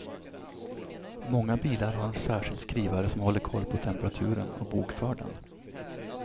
Många bilar har en särskild skrivare som håller koll på temperaturen och bokför den.